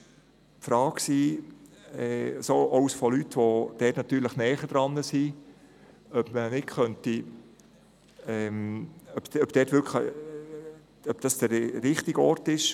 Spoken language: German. Es wurde von Leuten, die sich dort gut auskennen, gefragt, ob das wirklich der richtige Ort sei.